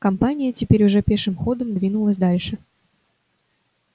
компания теперь уже пешим ходом двинулась дальше